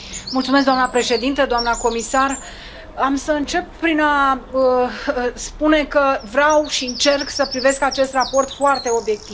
Doamnă președintă, doamnă comisar, am să încep prin a spune că vreau și încerc să privesc acest raport foarte obiectiv.